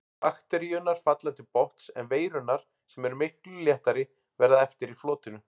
Bakteríurnar falla til botns en veirurnar, sem eru miklu léttari, verða eftir í flotinu.